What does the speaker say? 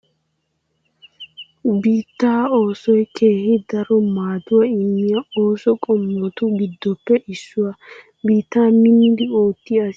Biittaa oosoy keehi daro maaduwaa immiya ooso qommotu giddoppe issuwaa. Biittaa minnidi oottiya asi bananne ba keettaa asaa namisaappe ashees.